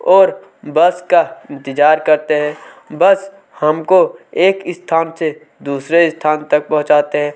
और बस का इंतजार करते हैं बस हमको एक स्थान से दूसरे स्थान तक पहुंचाते है।